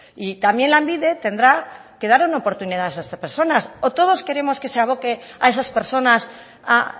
y también lanbide tendrá que dar una oportunidad a esas personas o todos queremos que se aboque a esas personas a